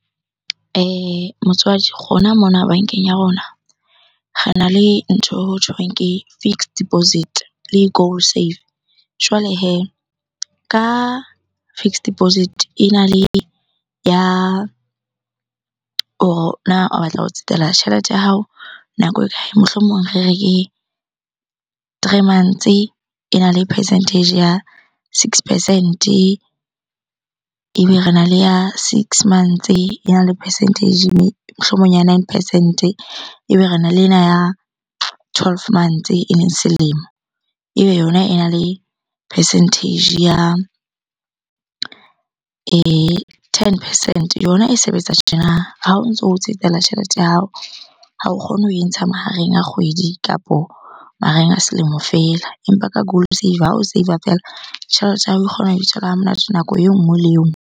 Motswadi, rona mona bankeng ya rona rena le ntho eo hothweng ke fixed deposit-e le goal save. Jwale hee ka fixed deposit-e ena le ya, hore na o batla ho tsetela tjhelete ya hao nako e kae? Mohlomong re re ke three months-e, ena le percentage ya six percent-e. Ebe rena le ya six months-e ena le percentage mohlomong nine percent-e. Ebe rena le ena ya twelve months-e eleng selemo. Ebe yona ena le percentage ya ten percent-e. Yona e sebetsa tjena, ha o ntso tsetela tjhelete ya hao. Ha o kgone ho e ntsha mahareng a kgwedi kapo mahareng a selemo fela. Empa ka goal saver, ha o save-a feela. Tjhelete ya hao e kgona ho ha monate nako e nngwe le e nngwe.